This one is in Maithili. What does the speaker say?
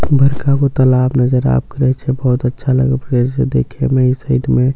बरखा को तालाब नजर आबि करए छे बहुत अच्छा लग फेर से देखे मेई साइड मे.